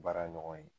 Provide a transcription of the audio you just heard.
Baara ɲɔgɔn ye